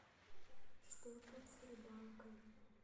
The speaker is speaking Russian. что тут с рыбалкой